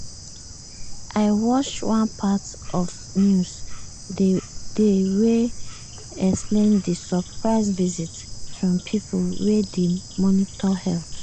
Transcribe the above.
i wash one part of news dey wey explain di surprise visit from pipo wey dey monitor health.